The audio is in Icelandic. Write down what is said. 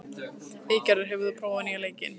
Eygerður, hefur þú prófað nýja leikinn?